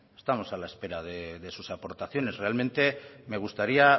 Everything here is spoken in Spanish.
estamos a la espera de sus aportaciones realmente me gustaría